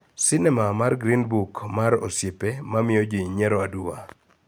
Sinema miluongo ni Green Book mar osiepe ma miyo ji nyiero aduwa